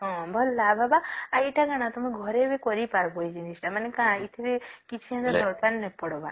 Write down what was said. ହଁ ଭଲ ଲାଭ ହେବ ଆଉ ଏଟା କଁ ତମେ ଘରେ ବି କରି ପରିବା ଏ ଜିନିଷ ତ କିଛି ସେମିତି ଦରକାର ନାଇଁ ପଡିବ